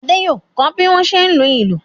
Adé yóò kọ́ bí wọ́n ṣe ń lu ìlù.